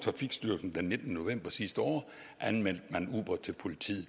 trafikstyrelsen den nittende november sidste år anmeldte uber til politiet